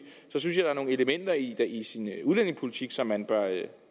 er der nogle elementer i den udlændingepolitik som man bør